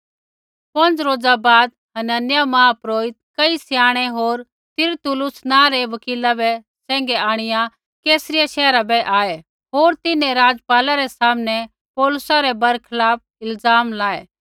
पौंज़ रोज़ा बाद हनन्याह महापुरोहित कई स्याणै होर तिरतुल्लुस नाँ रै वकीला बै सैंघै आंणिआ कैसरिया शैहरा बै आऐ होर तिन्हैं राज़पाला रै सामनै पौलुसा रै बरखलाफ इल्ज़ाम लाये